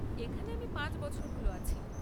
এখানে আমি পাঁচ বছর হল আছি।